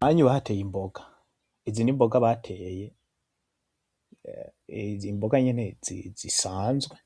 Aha anye bahateye imboga, izi n’mboga bateye, izimboga nyene zisanzwe